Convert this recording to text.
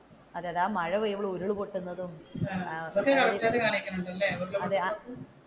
അതെ അതെ ആ മഴപെയ്യുമ്പോൾ ഉരുൾ പൊട്ടുന്നതും